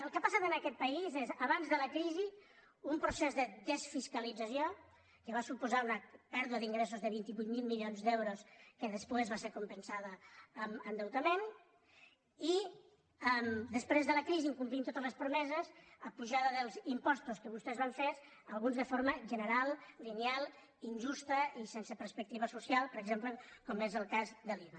el que ha passat en aquest país és abans de la crisi un procés de desfiscalització que va suposar una pèrdua d’ingressos de vint vuit mil milions d’euros que després va ser compensada amb endeutament i després de la crisi incomplint totes les promeses apujada dels impostos que vostès van fer alguns de forma general lineal injusta i sense perspectiva social per exemple com és el cas de l’iva